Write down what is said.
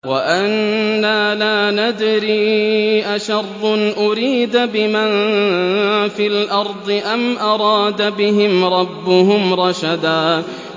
وَأَنَّا لَا نَدْرِي أَشَرٌّ أُرِيدَ بِمَن فِي الْأَرْضِ أَمْ أَرَادَ بِهِمْ رَبُّهُمْ رَشَدًا